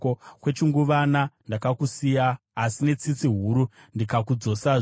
“Kwechinguvana ndakakusiya, asi netsitsi huru ndikakudzosazve.